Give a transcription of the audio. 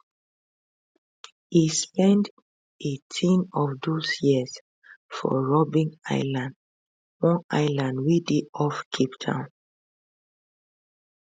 e spend eighteen of those years for robben island one island wey dey off cape town